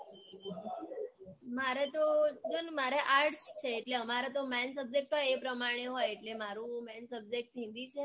મારે તો જો ને મારે arts છે એટલે અમારે તો main subject હોય એ પ્રમાણે હોય એટલે મારું main subject હિન્દી છે